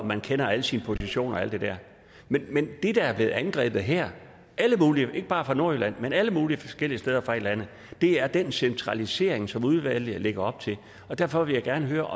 man kender alle sine positioner og alt det der men det der er blevet angrebet her ikke bare fra nordjylland men fra alle mulige forskellige steder i landet er den centralisering som udvalget lægger op til derfor vil jeg gerne høre